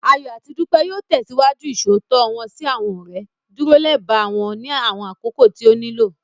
Ayọ̀ àti Dúpẹ́ yóò tẹ̀síwájú Ìṣòótọ́ wọ́n sí àwọn ọ̀rẹ́, dúró lẹba wọn ní àwọn àkókò tí ó nílò